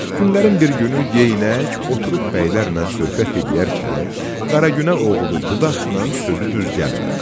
Günlərin bir günü Yeynək oturub bəylərlə söhbət eləyərkən Qara Günə oğlu Budaqnan sözü düz gəlmədi.